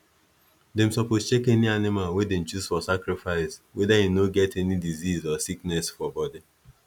them suppose check any animal wey them choose for sacrifice whether e no get any disease or sickness for body